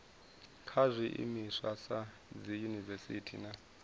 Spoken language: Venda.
kha zwiimiswa sa dziyunivesiti na